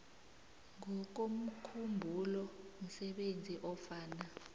ngokomkhumbulo msebenzi ofana